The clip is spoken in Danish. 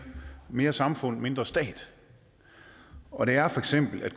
mere samfund mindre stat og det er feks at